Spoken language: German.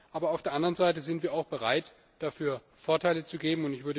Aber auf der anderen Seite sind wir auch bereit, dafür Vorteile zu geben.